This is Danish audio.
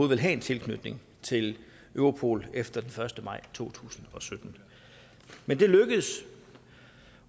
ville have en tilknytning til europol efter den første maj to tusind og sytten men det lykkedes